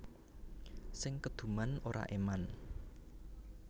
Sing keduman ora eman